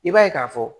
I b'a ye k'a fɔ